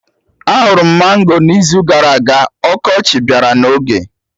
Ahụrụ m mango n'izu gara aga, ọkọchị bịara n'oge